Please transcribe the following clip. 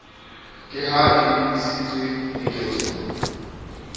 ka ha e lebisitswe diketsong